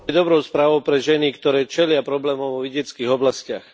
dobrou správou pre ženy, ktoré čelia problémom vo vidieckych oblastiach.